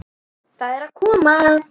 Það er að koma!